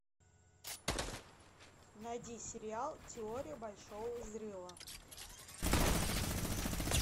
найди сериал теория большого взрыва